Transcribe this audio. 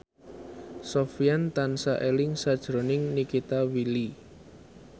Sofyan tansah eling sakjroning Nikita Willy